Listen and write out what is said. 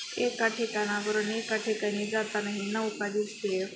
एका ठिकाणावरून एका ठिकाणी जाताना ही नवका दिसतेय.